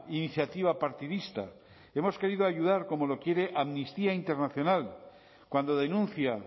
iniciativa partidista hemos querido ayudar como lo quiere amnistía internacional cuando denuncia